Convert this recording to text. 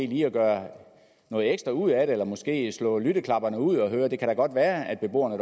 lige at gøre noget ekstra ud af det eller måske slå lytteklapperne ud og høre efter det kan da godt være at beboerne